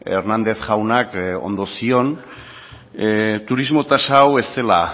hernández jaunak ondo zioen turismo tasa hau ez zela